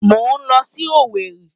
Mò ń lọ sí Owerri.